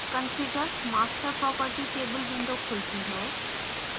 configure master property table window खुलती है